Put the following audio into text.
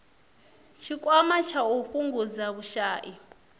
tshikwama tsha u fhungudza vhushai